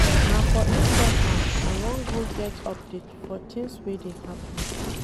Na for Instagram I wan go get update for tins wey dey happen.